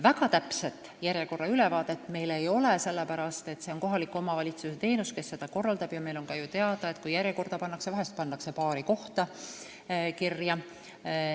Väga täpset ülevaadet meil järjekordadest ei ole, sest see on kohaliku omavalitsuse korraldatav teenus, ja meil on teada, et vahel pannakse inimene paari kohta kirja.